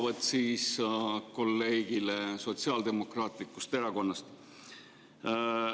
Vastus kolleegile Sotsiaaldemokraatlikust Erakonnast.